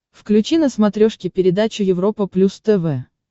включи на смотрешке передачу европа плюс тв